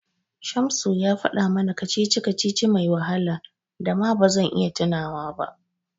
Shamsu ya faɗa mana kacici-kacici mai wahala da ba ma zan iya tunawa ba.